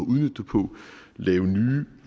laver nye